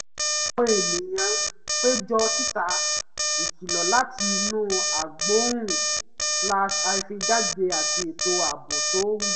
àwọn ènìyàn péjọ síta ìkìlọ̀ láti inú agbóhùn-jáde àti ètò ààbò tó rújú